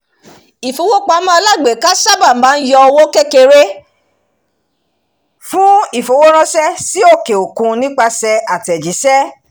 ifowópamọ́ alágbèéká sáábà máa ń yọ owó kékeré fún ifowóránṣẹ́ sí òkè-òkun nípasẹ̀ àtẹ̀jíṣẹ́